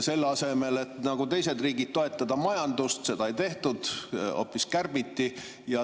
Selle asemel, et nagu teised riigid toetada majandust, seda ei tehtud, hoopis kärbiti.